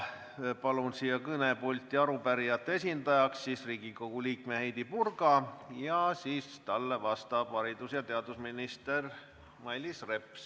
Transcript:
Palun siia kõnepulti arupärijate esindajaks Riigikogu liikme Heidy Purga, talle vastab hiljem haridus- ja teadusminister Mailis Reps.